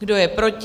Kdo je proti?